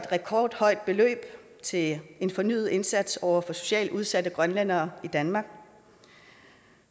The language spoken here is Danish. rekordhøjt beløb til en fornyet indsats over for socialt udsatte grønlændere i danmark